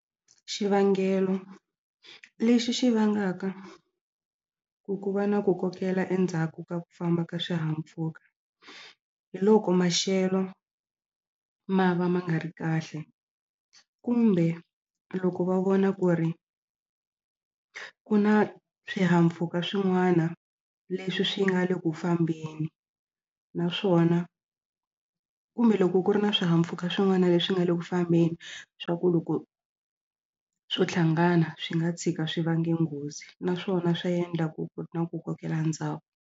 Xivangelo lexi xi vangaka ku ku va na ku kokela endzhaku ka ku famba ka swihahampfhuka hi loko maxelo ma va ma nga ri kahle kumbe loko va vona ku ri ku na swihahampfhuka swin'wana leswi swi nga le ku fambeni naswona kumbe loko ku ri na swihahampfhuka swin'wana leswi nga le ku fambeni swa ku loko swo hlangana swi nga tshika swi vange nghozi naswona swa endla ku ku na ku kokela ndzhaku.